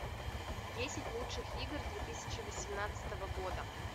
десять лучших игр две тысячи восемнадцатого года